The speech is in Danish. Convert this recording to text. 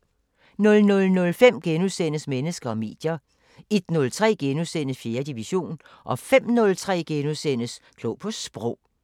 00:05: Mennesker og medier * 01:03: 4. division * 05:03: Klog på Sprog *